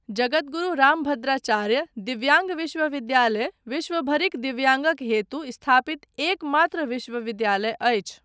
जगद्गुरु रामभद्राचार्य दिव्याङ्ग विश्वविद्यालय विश्वभरिक दिव्याङ्गक हेतु स्थापित एकमात्र विश्वविद्यालय अछि।